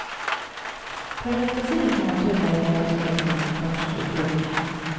På den danska sidan kommer en tunnel att grävas ned från en konstgjord udde.